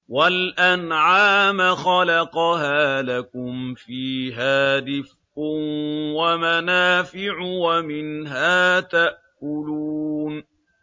وَالْأَنْعَامَ خَلَقَهَا ۗ لَكُمْ فِيهَا دِفْءٌ وَمَنَافِعُ وَمِنْهَا تَأْكُلُونَ